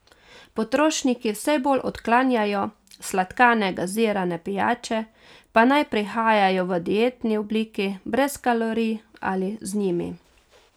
Potrošniki vse bolj odklanjajo sladkane gazirane pijače, pa naj prihajajo v dietni obliki brez kalorij ali z njimi.